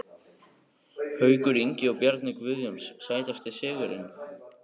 Haukur Ingi og Bjarni Guðjóns Sætasti sigurinn?